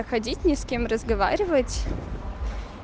ходить ни с кем разговаривать